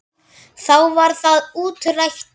Þá var það útrætt.